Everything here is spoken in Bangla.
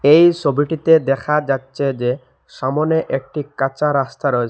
এই সবিটিতে দেখা যাচ্ছে যে সামোনে একটি কাঁচা রাস্তা রয়ে--